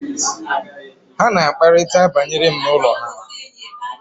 ha na-akparịta banyere m n’ụlọ ha